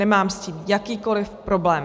Nemám s tím jakýkoliv problém.